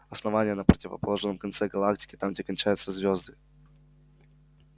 основание на противоположном конце галактики там где кончаются звезды